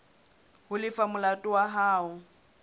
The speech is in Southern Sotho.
ho lefa molato wa hao